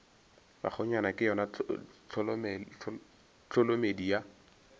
bakgonyana ke yona tholomedi ya